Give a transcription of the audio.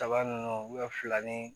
Kaba nunnu fila ni